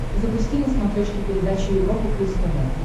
запусти на смотрешке передачу европа плюс тв